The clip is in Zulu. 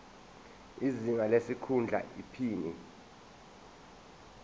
izinga lesikhundla iphini